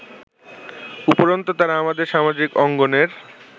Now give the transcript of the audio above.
উপরন্তু তারা আমাদের সামাজিক অঙ্গনের